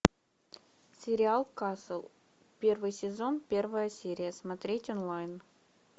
сериал касл первый сезон первая серия смотреть онлайн